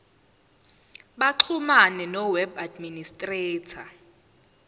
baxhumane noweb administrator